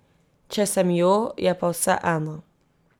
Če sem jo, je pa vseeno.